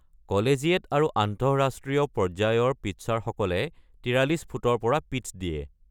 Collegiate আৰু আন্তঃৰাষ্ট্ৰীয় পৰ্যায়ৰ পিট্চাৰসকলে ৪৩ ফুটৰ পৰা পিট্চ দিয়ে।